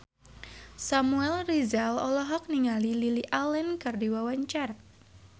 Samuel Rizal olohok ningali Lily Allen keur diwawancara